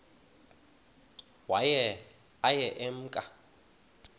waye aye emke